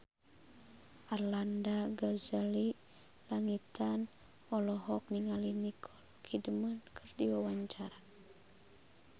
Arlanda Ghazali Langitan olohok ningali Nicole Kidman keur diwawancara